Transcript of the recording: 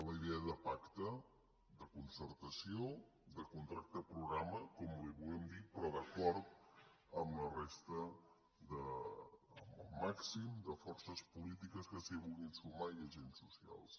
la idea de pacte de concertació de contracte programa com li vulguem dir però d’acord amb la resta amb el màxim de forces polítiques que s’hi vulguin sumar i agents socials